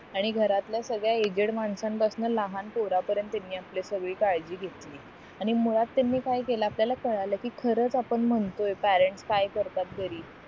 आणि घरातल्या सगळ्या एजेड माणसं पासन पोरं पर्यंत तिनि आपली सगळी काळजी घेतली आणि मुळात त्यांनी काय केलं आपल्याला कळलं कि खरंच आपण म्हणतोय पेरेंट्स काय करतात घरी